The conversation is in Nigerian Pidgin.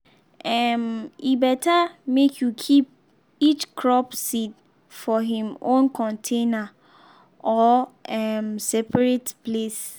um e better make you keep each crop seed for him own container or um separate place.